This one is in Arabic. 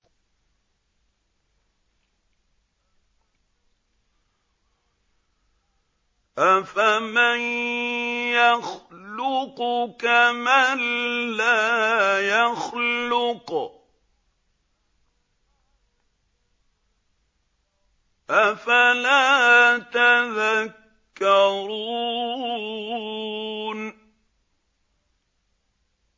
أَفَمَن يَخْلُقُ كَمَن لَّا يَخْلُقُ ۗ أَفَلَا تَذَكَّرُونَ